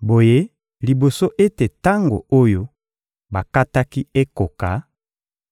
Boye liboso ete tango oyo bakataki ekoka,